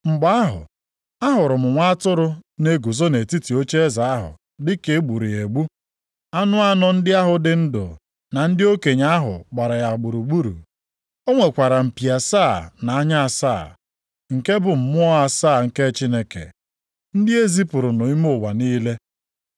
Mgbe ahụ, ahụrụ m Nwa Atụrụ na-eguzo nʼetiti ocheeze ahụ dịka e gburu ya egbu. Anụ anọ ahụ dị ndụ na ndị okenye ahụ gbara ya gburugburu. O nwekwara mpi asaa na anya asaa, nke bụ mmụọ asaa nke Chineke, ndị e zipụrụ nʼime ụwa niile.